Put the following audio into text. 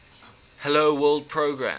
hello world program